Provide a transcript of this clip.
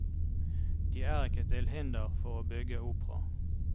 De er ikke til hinder for å bygge opera.